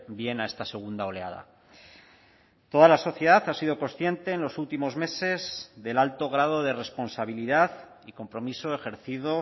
bien a esta segunda oleada toda la sociedad ha sido consciente en los últimos meses del alto grado de responsabilidad y compromiso ejercido